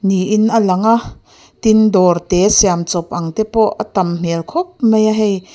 niin a lang a tin dawr te siam chawp ang te pawh a tam hmelh khawp mai a hei.